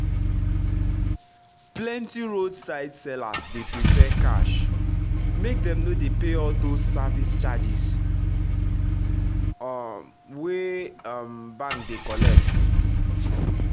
plenty roadside sellers dey prefer cash make dem no dey pay all those service charges um wey um bank dey collect